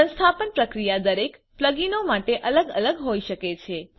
સંસ્થાપન પ્રક્રિયા દરેક પ્લગઈનો માટે અલગ અલગ હોઈ શકે છે